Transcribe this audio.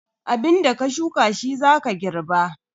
Abinda ka shuka shi za ka girba.